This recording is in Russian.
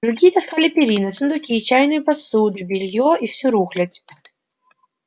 другие таскали перины сундуки чайную посуду бельё и всю рухлядь